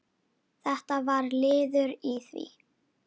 Þetta var liður í því.